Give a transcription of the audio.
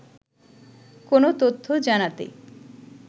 কোনো তথ্য জানাতে